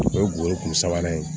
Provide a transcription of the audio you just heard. O ye guwere kun sabanan ye